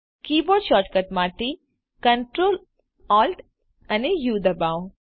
keyboard shortcut માટે Ctrl Alt અને ઉ દબાવો